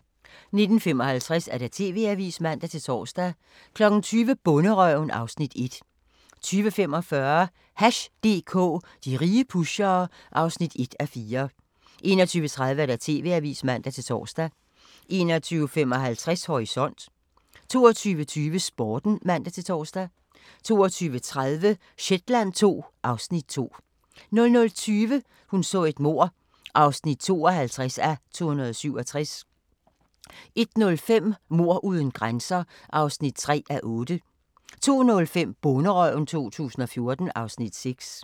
19:55: TV-avisen (man-tor) 20:00: Bonderøven (Afs. 1) 20:45: Hash DK - de rige pushere (1:4) 21:30: TV-avisen (man-tor) 21:55: Horisont 22:20: Sporten (man-tor) 22:30: Shetland II (Afs. 2) 00:20: Hun så et mord (52:267) 01:05: Mord uden grænser (3:8) 02:05: Bonderøven 2014 (Afs. 6)